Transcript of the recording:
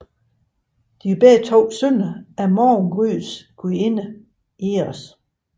De var begge sønner af morgengryets gudinde Eos